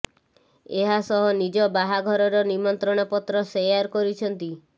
ଏହା ସହ ନିଜ ବାହାଘରର ନିମନ୍ତ୍ରଣ ପତ୍ର ସେୟାର କରିଛନ୍ତି